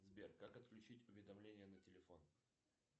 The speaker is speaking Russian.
сбер как отключить уведомления на телефон